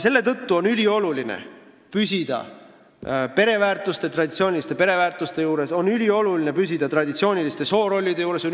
Selle tõttu on ülioluline püsida traditsiooniliste pereväärtuste ja traditsiooniliste soorollide juures.